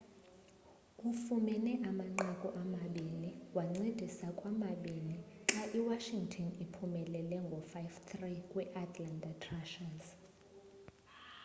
ufumene amanqaku amabini wancedisa kwamabini xa i washington iphumelele ngo-5-3 kwi-atlanta thrashers